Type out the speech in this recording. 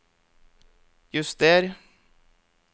juster